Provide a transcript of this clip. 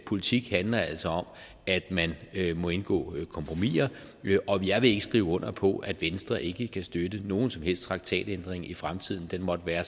politik handler altså om at man må indgå kompromiser jeg vil ikke skrive under på at venstre ikke kan støtte nogen som helst traktatændring i fremtiden den måtte være